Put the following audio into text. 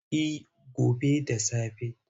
Eh gobe da safe.